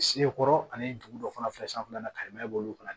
Sekɔrɔ ani dugu dɔ fana fɛ sanfɛla na ka yɛlɛma b'olu kan